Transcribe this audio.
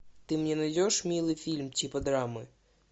ты мне найдешь милый фильм типа драмы